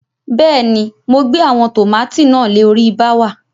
Bẹ́ẹ̀ ni, mo gbe àwọn tòmátì náà le orí bááwà.